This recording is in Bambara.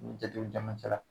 N Jatew jamana cɛla